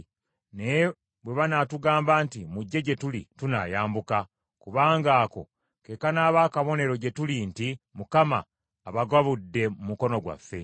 Naye bwe banaatugamba nti, ‘Mujje gye tuli,’ tunaayambuka, kubanga ako ke kanaaba akabonero gye tuli nti Mukama abagabudde mu mukono gwaffe.”